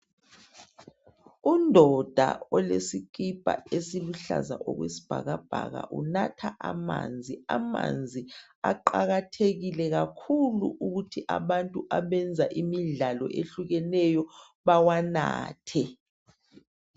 Undoda olesikhipha esiluhlaza okwesibhakabhaka. Unatha amanzi ,amanzi aqakathekile kakhulu ukuthi abantu abenza imidlalo ehlukeneyo bawanathe.